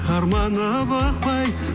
қарманып ықпай